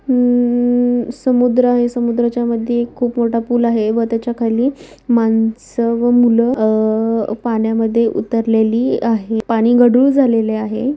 म-म-म-म समुद्र आहे.समुद्राच्या मधी एक खूप मोठा फूल आहे व तेच्या खाली माणस व मूल अ- पण्यामध्ये उतरलेली आहे. पाणी गडूळ झालेली आहे.